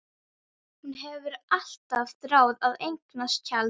Hún hefur alltaf þráð að eignast tjald.